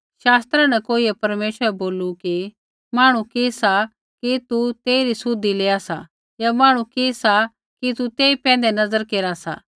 शास्त्रा न कोइयै परमेश्वरा बै बोलू कि मांहणु कि सा कि तू तेइरी सुधि लेआ सा या मांहणु कि सा कि तू तेई पैंधै नज़र केरा सा